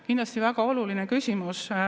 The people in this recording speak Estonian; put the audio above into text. Kindlasti väga oluline küsimus.